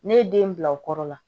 Ne ye den bila o kɔrɔ la